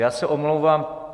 Já se omlouvám.